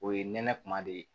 O ye nɛnɛ kuma de ye